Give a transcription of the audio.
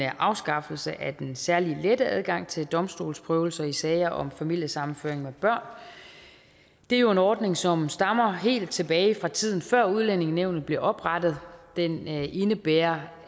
afskaffelse af den særligt lette adgang til domstolsprøvelser i sager om familiesammenføring med børn det er jo en ordning som stammer fra helt tilbage fra tiden før udlændingenævnet blev oprettet den indebærer